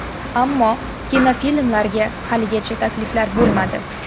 Ammo kinofilmlarga haligacha takliflar bo‘lmadi.